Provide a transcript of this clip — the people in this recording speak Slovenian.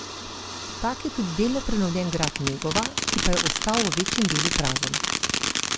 Tak je tudi delno prenovljen grad Negova, ki pa je ostal v večjem delu prazen.